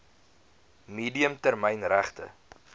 medium termyn regte